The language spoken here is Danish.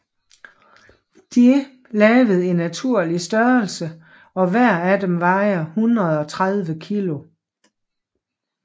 De lavet i naturlig størrelse og hver af dem vejer 130 kg